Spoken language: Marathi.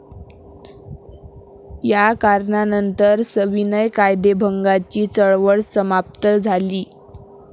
या करणानंतर सविनय कायदेभंगाची चळवळ समाप्त झाली.